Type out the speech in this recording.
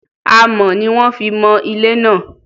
Amọ̀ ni wón fi mọ ilé náà.